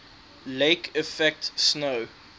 lake effect snow